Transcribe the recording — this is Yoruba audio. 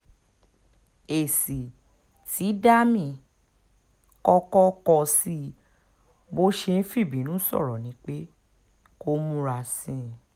èsì tí dami kọ́kọ́ kọ sí i bó ṣe ń fìbínú sọ̀rọ̀ ni pé kó múra sí i